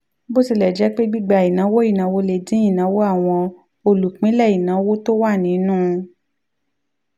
bó tilẹ̀ jẹ́ pé gbígba ìnáwó ìnáwó lè dín ìnáwó àwọn olùpínlẹ̀ ìnáwó tó wà nínú